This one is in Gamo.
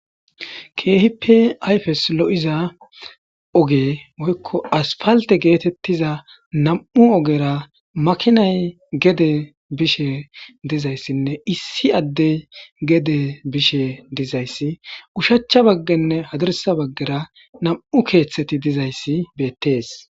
Keehipe ayfes lo7iza oge woykko asfalte geetettiza nam7u ogera makinay gede bishe dizayssinne issi addey gede bishe dizayssi ushachcha baggenne hadirsa baggera nam7u keeththeti dizayssi beettees.